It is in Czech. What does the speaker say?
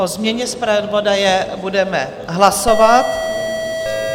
O změně zpravodaje budeme hlasovat.